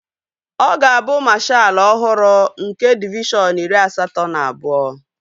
Ọ ga-abụ mashaalu ọhụrụ nke divishọn iri asatọ na abụọ